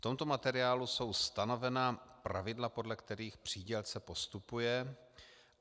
V tomto materiálu jsou stanovena pravidla, podle kterých přídělce postupuje.